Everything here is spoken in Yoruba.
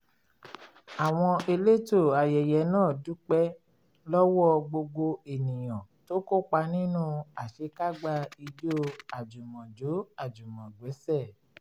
àwọn elétò ayẹyẹ náà dúpẹ́ lọ́wọ́ gbogbo ènìyàn tó kópa nínú àṣekágbá ijó àjùmọ̀jó-àjùmọ̀gbẹ́sẹ̀